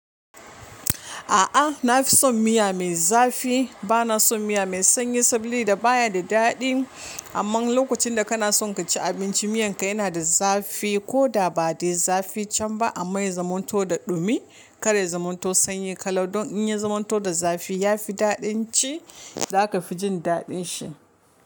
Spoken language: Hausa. A'a, na fi son miya mai zafi. Bana son miya mai sanyi sabili da baya da daɗi. Amma lokacin da kana son ka ci abinci, miyan ka yana da zafi ko da ba dai zafi can ba, amma ya zamanto da dumi. Kada ya yi zamanto sanyi kalau. Don in ya zamanto da zafi, ya fi daɗin ci. Za ka fi jin daɗin shi.